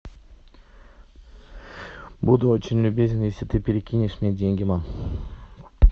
буду очень любезен если ты перекинешь мне деньги мам